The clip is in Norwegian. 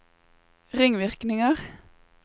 ringvirkninger